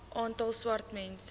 aantal swart mense